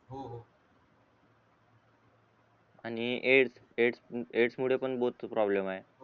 आणि ऍड ऍड ऍंडस मुले बहुतेक प्रॉब्लेम आहे